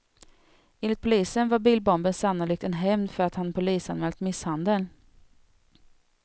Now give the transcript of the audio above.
Enligt polisen var bilbomben sannolikt en hämnd för att han polisanmält misshandeln.